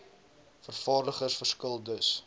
vervaardigers verskil dus